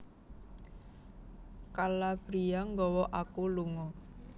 Calabria nggawa aku lunga